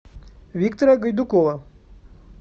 виктора гайдукова